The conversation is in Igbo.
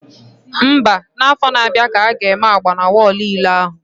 Mba, na afọ na abịa ka aga eme agba na wọlụ ilo ahụ